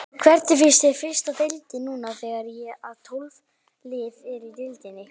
Hvernig finnst þér fyrsta deildin núna þegar að tólf lið eru í deildinni?